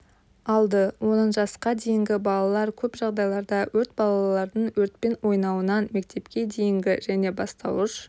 алды оның жасқа дейінгі балалар көп жағдайларда өрт балалардың өртпен ойнауынан мектепке дейінгі және бастауыш